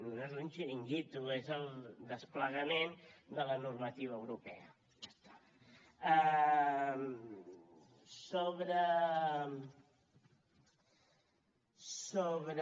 no és un xiringuito és el desplegament de la normativa europea i ja està